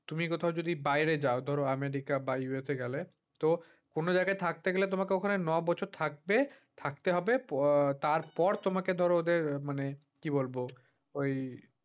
তুমি কোথাও যদি বাইরে যাও ধর america বা USA গেলে। তো অন্য যায়গায় থাকতে হলে তোমাকে ওখানে নয় বছর থাকবে থাকতে হবে। প্য তারপর তোমাকে ধর ওদের মানে, কি বলব? ওই